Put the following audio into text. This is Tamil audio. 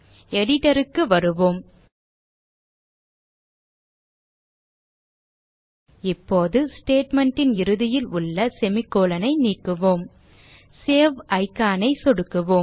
editor க்கு வருவோம் இப்போது statement ன் இறுதியில் உள்ள semi கோலோன் ஐ நீக்குவோம் சேவ் icon ஐ சொடுக்குவோம்